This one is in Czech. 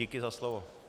Díky za slovo.